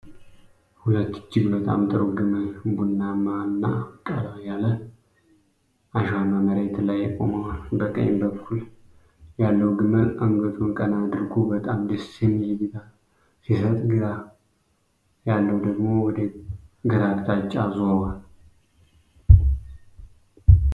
ሁለት እጅግ በጣም ጥሩ ግመል ቡናማማማና ቀላ ያለ አሸዋማ መሬት ላይ ቆመዋል። በቀኝ በኩል ያለው ግመል አንገቱን ቀና አድርጎ በጣም ደስ የሚል እይታ ሲሰጥ፣ ግራ ያለው ደግሞ ወደ ግራ አቅጣጫ ዞሯል።